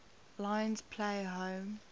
lions play home